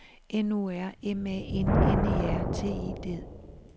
N O R M A N N E R T I D